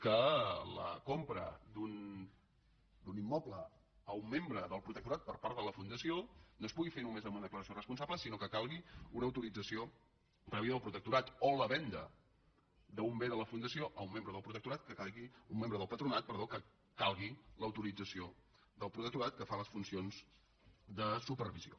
que la compra d’un immoble a un membre del protectorat per part de la fundació no es pugui fer només amb una declaració responsable sinó que cal·gui una autorització prèvia del protectorat o la venda d’un bé de la fundació a un membre del patronat que calgui l’autorització del protectorat que fa les funci·ons de supervisió